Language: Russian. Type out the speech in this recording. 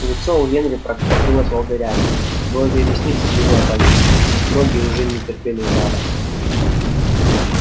лицо у генри покрылось волдырями брови и ресницы были опалены ноги уже не терпели жара